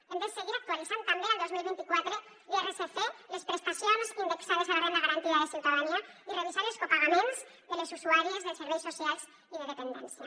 hem de se guir actualitzant també el dos mil vint quatre l’irsc les prestacions indexades a la renda garantida de ciutadania i revisar els copagaments de les usuàries dels serveis socials i de dependència